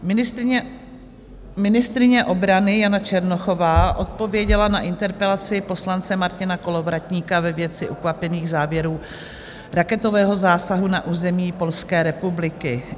Ministryně obrany Jana Černochová odpověděla na interpelaci poslance Martina Kolovratníka ve věci ukvapených závěrů raketového zásahu na území Polské republiky.